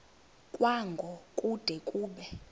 kwango kude kube